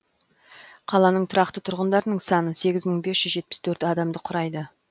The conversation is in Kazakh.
қаланың тұрақты тұрғындарының саны сегіз мың бес жүз жетпіс төрт адамды құрайды